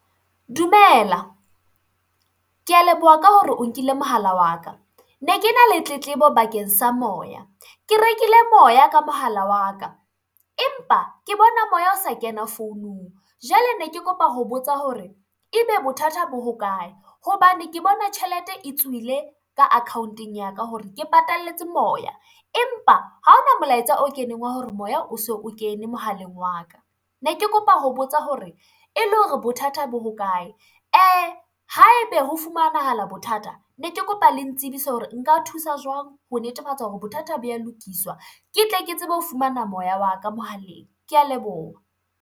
Dumela, kea leboha ka hore o nkile mohala wa ka. Ne ke na le tletlebo bakeng sa moya ke rekile moya ka mohala wa ka, empa ke bona moya o sa kena founung. Jwale ne ke kopa ho botsa hore ebe bothata bo ho kae, hobane ke bona tjhelete e tswile ka account-eng ya ka hore ke patalletse moya, empa ha ona molaetsa o keneng wa hore moya o so o kene mohaleng wa ka. Ne ke kopa ho botsa hore e le hore bothata bo ho kae, haebe ho fumanahala bothata ne ke kopa le ntsebise hore nka thusa jwang ho netefatsa hore bothata bo ya lokiswa, ke tle ke tsebe ho fumana moya wa ka mohaleng. Kea leboha.